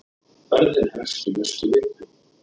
Ferðin hefst í næstu viku.